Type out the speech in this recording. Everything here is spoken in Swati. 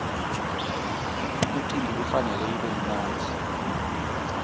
umcimbi kufanele ube mnandzi